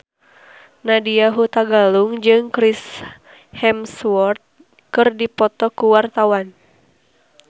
Nadya Hutagalung jeung Chris Hemsworth keur dipoto ku wartawan